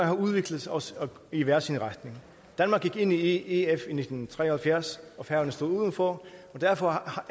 har udviklet os i hver sin retning danmark gik ind i ef i nitten tre og halvfjerds og færøerne står uden for og derfor